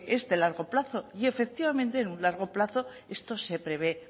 es de largo plazo y efectivamente en un largo plazo esto se prevé